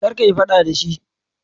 Kar kayi fada da shi.